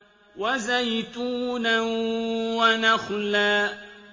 وَزَيْتُونًا وَنَخْلًا